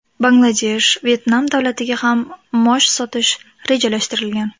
Bangladesh, Vyetnam davlatiga ham mosh sotish rejalashtirilgan.